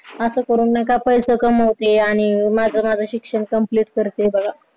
असं करून नाही का पैशे कमावते आणि माझं माझं शिक्षण complete करते बघा